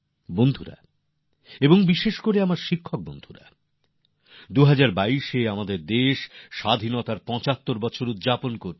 সাথীরা বিশেষকরে আমার শিক্ষক সাথীরা ২০২২এ আমাদের দেশ স্বাধীনতার ৭৫ বছর পালন করবে